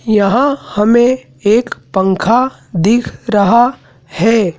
यहां हमें एक पंखा दिख रहा है।